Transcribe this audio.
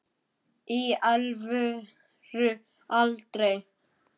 í alvöru aldrei